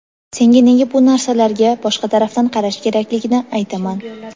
senga nega bu narsalarga boshqa tarafdan qarash Kerakligini aytaman:.